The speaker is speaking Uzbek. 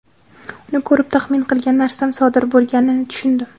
Uni ko‘rib, taxmin qilgan narsam sodir bo‘lganini tushundim.